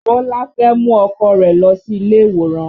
Bọlá fẹ́ mú ọkọ rẹ̀ lọ sí ilé ìwòran